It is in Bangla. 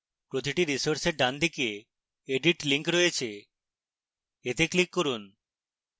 প্রতিটি resource ডানদিকে edit link রয়েছে এতে click করুন